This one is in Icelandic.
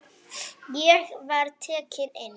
Ég var tekinn inn.